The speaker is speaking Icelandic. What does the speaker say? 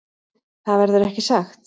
Það verður ekki sagt.